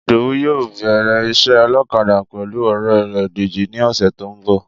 Ìdòwú yóò bẹ̀rẹ̀ iṣẹ́ ọlọ́kadà pẹ̀lú ore rẹ̀ Dèjì ní ọ̀sẹ̀ tó ń bọ̀